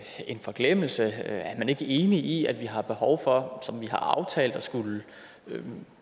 forglemmelse er man ikke enig i at vi har behov for som vi har aftalt at skulle